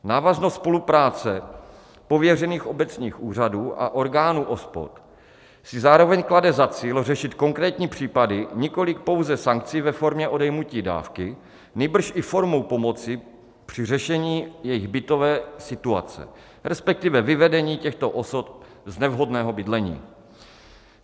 Návaznost spolupráce pověřených obecních úřadů a orgánů OSPOD si zároveň klade za cíl řešit konkrétní případy nikoliv pouze sankcí ve formě odejmutí dávky, nýbrž i formou pomoci při řešení jejich bytové situace, respektive vyvedení těchto osob z nevhodného bydlení.